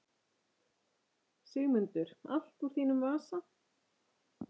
Sigmundur: Allt úr þínum vasa?